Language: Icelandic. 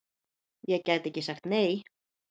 Ég gæti ekki sagt nei!